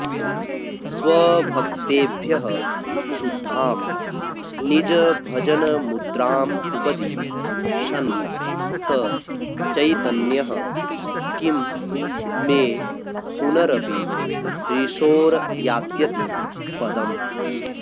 स्वभक्तेभ्यः शुद्धां निजभजनमुद्रामुपदिशन् स चैतन्यः किं मे पुनरपि दृशोर्यास्यति पदम्